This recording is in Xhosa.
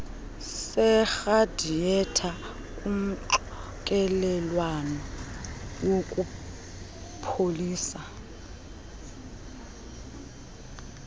seradiyetha kumxokelelwano wokupholisa